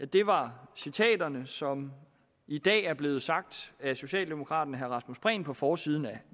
det var citaterne som i dag er blevet sagt af socialdemokraten herre rasmus prehn på forsiden af